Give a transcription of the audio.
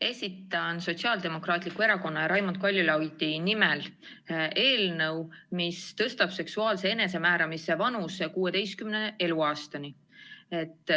Esitan Sotsiaaldemokraatliku Erakonna ja Raimond Kaljulaidi nimel eelnõu, mis tõstab seksuaalse enesemääramise vanusepiiri 16. eluaastani.